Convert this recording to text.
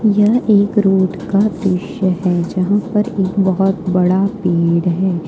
यह एक रोड का दृश्य है जहां पर एक बहुत बड़ा पेड़ है।